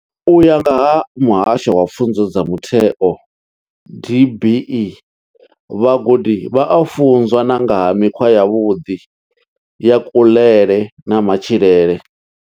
U ya nga vha Muhasho wa pfunzo dza mutheo DBE, vhagudi vha a funzwa na nga ha mikhwa yavhuḓi ya kuḽele na matshilele.